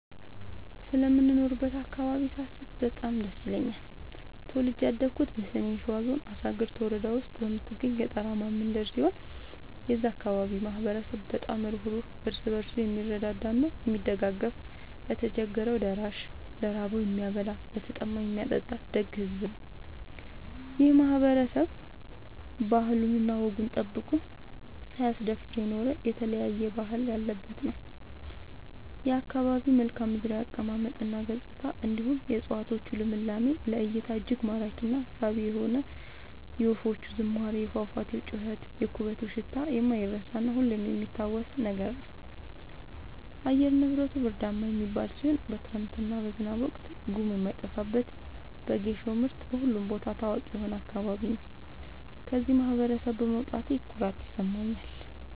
ስለምኖርበት አካባቢ ሳስብ በጣም ደስ ይለኛል። ተወልጄ ያደኩት በሰሜን ሸዋ ዞን አሳግርት ወረዳ ውስጥ በምትገኝ ገጠራማ መንደር ሲሆን የዛ አካባቢ ማህበረሰብ በጣም ሩህሩህ ÷ እርስ በርሱ የምረዳዳ እና የሚደጋገፍ ለቸገረው ደራሽ ÷ ለራበው የሚያበላ ÷ለተጠማ የሚያጠጣ ደግ ሕዝብ ነው። ይህ ማህበረሰብ ባህሉን እና ወጉን ጠብቆ ሳያስደፍር የኖረ የተለያየ ባህል ያለበት ነው። የአካባቢው መልከዓምድራው አቀማመጥ እና ገጽታ እንዲሁም የ እፀዋቶቹ ልምላሜ ለ እይታ እጅግ ማራኪ እና ሳቢ የሆነ የወፎቹ ዝማሬ የፏፏቴው ጩኸት የኩበቱ ሽታ የማይረሳ እና ሁሌም የሚታወስ ነገር ነው። አየር ንብረቱ ብርዳማ የሚባል ሲሆን በክረምት እና በዝናብ ወቅት ጉም የማይጠፋበት በጌሾ ምርት በሁሉም ቦታ ታዋቂ የሆነ አካባቢ ነው። ከዚህ ማህበረሰብ በመውጣቴ ኩራት ይሰማኛል።